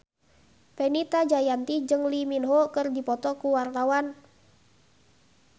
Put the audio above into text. Fenita Jayanti jeung Lee Min Ho keur dipoto ku wartawan